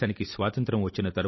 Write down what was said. సస్య శ్యామలాం మాతరం